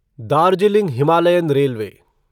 Darjeeling Himalayan railway